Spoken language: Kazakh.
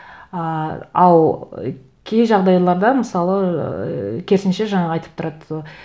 ыыы ал кей жағдайларда мысалы ыыы керісінше жаңағы айтып тұрады